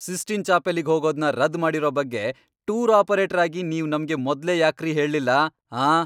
Cysteine ಚಾಪೆಲ್ಲಿಗ್ ಹೋಗೋದ್ನ ರದ್ದ್ ಮಾಡಿರೋ ಬಗ್ಗೆ ಟೂರ್ ಆಪರೇಟರ್ ಆಗಿ ನೀವ್ ನಮ್ಗೆ ಮೊದ್ಲೇ ಯಾಕ್ರಿ ಹೇಳ್ಲಿಲ್ಲ, ಆಂ?!